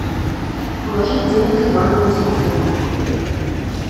положить денег ивану на телефон